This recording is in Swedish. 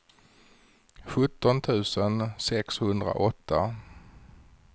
sjutton tusen sexhundraåtta